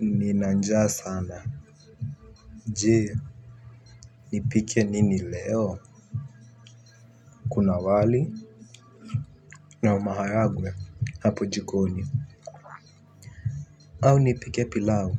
Nina njaa sana, je, nipike nini leo? Kuna wali na maharagwe hapo jikoni. Au nipike pilau